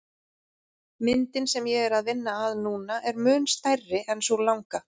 Myndin sem ég er að vinna að núna er mun stærri en sú langa.